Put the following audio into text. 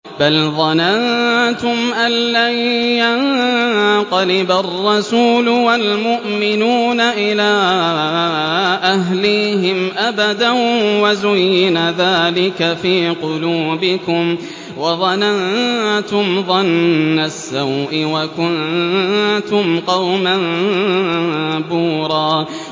بَلْ ظَنَنتُمْ أَن لَّن يَنقَلِبَ الرَّسُولُ وَالْمُؤْمِنُونَ إِلَىٰ أَهْلِيهِمْ أَبَدًا وَزُيِّنَ ذَٰلِكَ فِي قُلُوبِكُمْ وَظَنَنتُمْ ظَنَّ السَّوْءِ وَكُنتُمْ قَوْمًا بُورًا